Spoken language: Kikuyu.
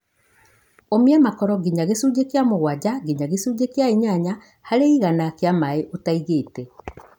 ũmia makoro nginya gĩcunjĩ kia mũgwanja nginya gĩcunjĩ kĩa inyanya harĩ igana kĩa maĩ ũtaigĩte.